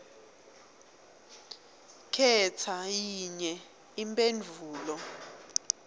khetsa yinye imphendvulo